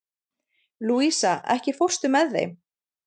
Louisa, ekki fórstu með þeim?